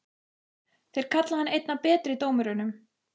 Þeir kalla hann einn af betri dómurunum?